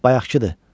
Bayaqkıdı.